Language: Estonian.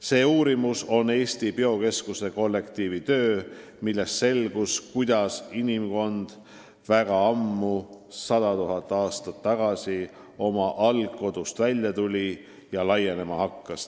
See uurimus on Eesti Biokeskuse kollektiivi töö, millest selgus, kuidas inimkond väga ammu, 100 000 aastat tagasi, oma algkodust välja tuli ja laienema hakkas.